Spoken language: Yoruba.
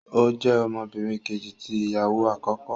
O jẹ ọmọbìnrin Kejì tí ìyàwó akọkọ